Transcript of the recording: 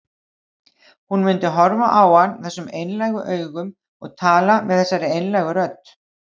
Hún myndi horfa á hann þessum einlægu augum og tala með þessari einlægu rödd.